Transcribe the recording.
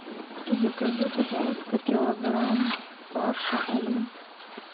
закажи пожалуйста килограмм фарша олимп